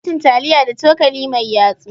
Ana cin taliya da cokali mai yatsu.